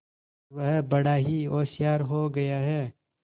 वह बड़ा ही होशियार हो गया है